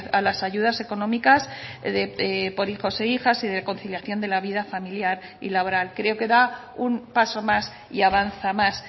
a las ayudas económicas por hijos e hijas y de conciliación de la vida familiar y laboral creo que da un paso más y avanza más